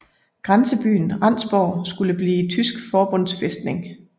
Grænsebyen Rendsborg skulle blive tysk forbundsfæstning